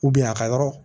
a ka yɔrɔ